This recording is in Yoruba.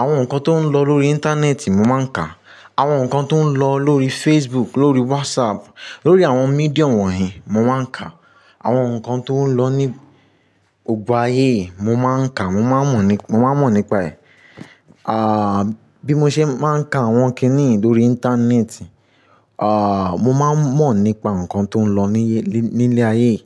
Àwọn nǹkan tó ń lọ lórí íńtánẹ́ẹ̀tì mo máa ń kà. Àwọn nǹkan tó ń lọ lórí Facebook, lórí WhatsApp, lórí àwọn mídíum wọ̀nyẹn mo máa ń kà. Àwọn nǹkan tó ń lọ ní gbogbo ayé yìí mo máa ń kà, mo máa ń mọ̀ ni- mo máa ń mọ̀ nípa ẹ̀. À, bí mo ṣe máa ń ka àwọn kíníì yẹn lórí íńtánẹ́ẹ̀tì, à, mo máa ń mọ̀ nípa nǹkan tó ń lọ ní ilẹ̀ ayé yìí.